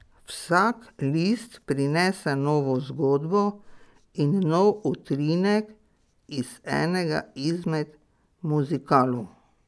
Vsak list prinese novo zgodbo in nov utrinek iz enega izmed muzikalov.